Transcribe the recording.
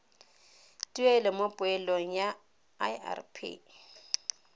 tuelo mo poelong ya irp